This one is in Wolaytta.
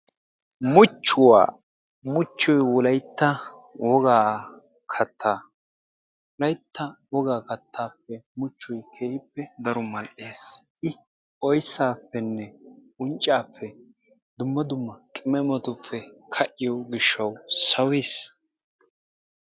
Muchchuwa muchchoyi wolaytta wogaa kattaa. Wolaytta wogaa kattaappe muchchoyi keehippe daro mall"es. I oyssaappenne unccaappe dumma dumma qimemetuppe ka""iyo gishshawu sawes.